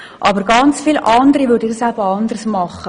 Aber ganz viele andere würden das eben anders machen.